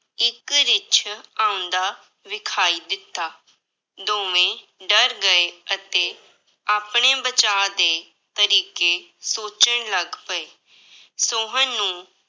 ਇੱਕ ਰਿੱਛ ਆਉਂਦਾ ਵਿਖਾਈ ਦਿੱਤਾ, ਦੋਵੇਂ ਡਰ ਗਏ ਅਤੇ ਆਪਣੇ ਬਚਾਅ ਦੇ ਤਰੀਕੇ ਸੋਚਣ ਲੱਗ ਪਏ, ਸੋਹਨ ਨੂੰ